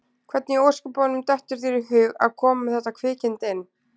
Hvernig í ósköpunum dettur þér í hug að koma með þetta kvikindi inn?